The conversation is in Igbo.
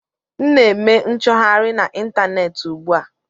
M na-eme nchọgharị na ịntaneetị ugbu a